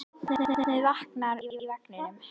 Barnið vaknaði í vagninum.